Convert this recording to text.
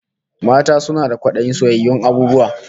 Mata suna da kwadayin soyayyun abububwa